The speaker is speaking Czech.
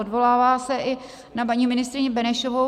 Odvolává se i na paní ministryni Benešovou.